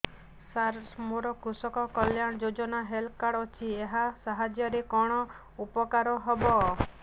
ସାର ମୋର କୃଷକ କଲ୍ୟାଣ ଯୋଜନା ହେଲ୍ଥ କାର୍ଡ ଅଛି ଏହା ସାହାଯ୍ୟ ରେ କଣ ଉପକାର ହବ